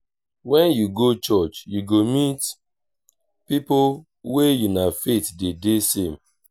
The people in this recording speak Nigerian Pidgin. wen yu go church yu go meet pipo wey una faith dey de same.